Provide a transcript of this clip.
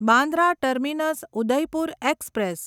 Bandra terminus Udaipur express